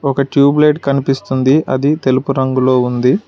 ఒక tube light కనిపిస్తుంది అది తెలుపు రంగులో ఉంది.